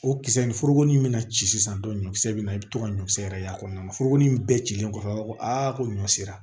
O kisɛ nin foroko in bɛna ci sisan dɔn ɲɔ kisɛ bɛ na i bɛ to ka ɲɔkisɛ yɛrɛ y'a kɔnɔna na foroko nin bɛɛ cilen kɔfɛ a b'a fɔ ko ɲɔ sera